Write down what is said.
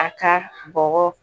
A ka bɔgɔ